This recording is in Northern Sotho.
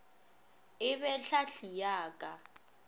e be tlhahli ya ka